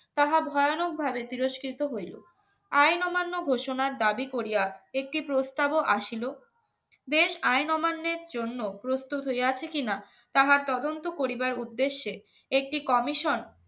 তাহা ভয়ানক ভাবে তিরস্কৃত হইল অহিন অমান্য ঘোষণার দাবি করিয়া একটি প্রস্তাব ও আসিল দেশ আইন অমান্যের জন্য প্রস্তুত হয়ে আছে কিনা তাহার তদন্ত করিবার উদ্দেশ্যে একটি কমিশন